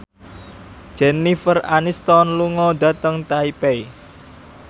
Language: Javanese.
Jennifer Aniston lunga dhateng Taipei